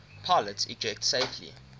pilots ejected safely